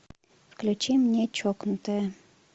включи мне чокнутая